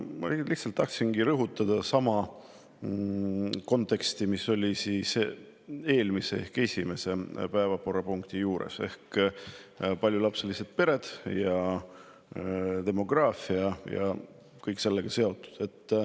Ma tahtsin lihtsalt rõhutada sama konteksti, mis eelmise ehk esimese päevakorrapunkti juures: paljulapselised pered, ja kõik sellega seonduv.